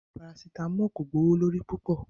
Paracetamol ko gbowolori pupọ